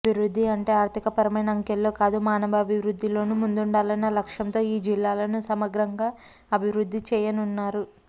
అభివృద్ధి అంటే ఆర్థికపరమైన అంకెల్లోకాదు మానవాభివృద్ధిలోనూ ముందుండాలన్న లక్ష్యంతో ఈ జిల్లాలను సమగ్రంగా అభివృద్ధి చేయనున్నారు